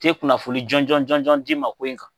Te kunnafoni jɔnjɔn jɔnjɔn d'i ma ko in kan